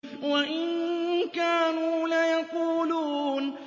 وَإِن كَانُوا لَيَقُولُونَ